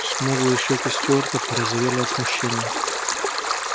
смуглые щеки стюарта порозовели от смущения